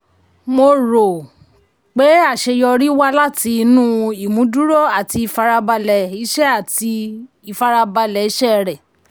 mo rò um pé aṣeyọrí wá láti inú ìmúdùró àti ìfarabalẹ̀ iṣẹ́ àti ìfarabalẹ̀ iṣẹ́ rẹ.